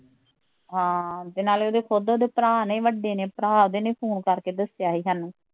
ਹਾਂ ਤੇ ਨਾਲੇ ਉਹਦੇ ਖੁਦ ਉਹਦੇ ਭਰਾ ਨੇ ਵੱਡੇ ਨੇ ਭਰਾ ਦੇ ਨੇ ਫੋਨ ਕਰ ਕੇ ਦੱਸਿਆ ਸੀ ਸਾਨੂੰ